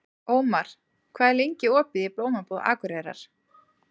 Ómar, hvað er lengi opið í Blómabúð Akureyrar?